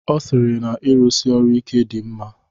Ọ sịrị na-irụsi ọrụ ike dị mma.